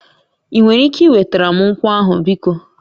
Ị nwere ike wetara m nkwọ ahụ biko?